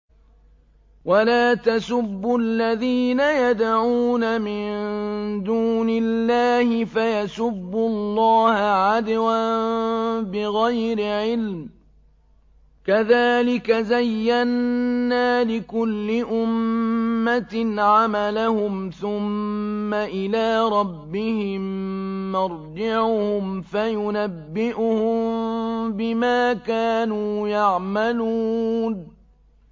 وَلَا تَسُبُّوا الَّذِينَ يَدْعُونَ مِن دُونِ اللَّهِ فَيَسُبُّوا اللَّهَ عَدْوًا بِغَيْرِ عِلْمٍ ۗ كَذَٰلِكَ زَيَّنَّا لِكُلِّ أُمَّةٍ عَمَلَهُمْ ثُمَّ إِلَىٰ رَبِّهِم مَّرْجِعُهُمْ فَيُنَبِّئُهُم بِمَا كَانُوا يَعْمَلُونَ